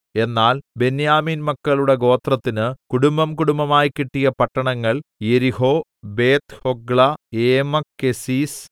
എന്നാൽ ബെന്യാമീൻ മക്കളുടെ ഗോത്രത്തിന് കുടുംബംകുടുംബമായി കിട്ടിയ പട്ടണങ്ങൾ യെരിഹോ ബേത്ത്ഹൊഗ്ല ഏമെക്കെസീസ്